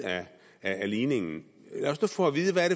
af ligningen lad os nu få at vide hvad